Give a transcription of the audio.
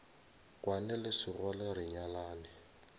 kwane le sekgole re nyalane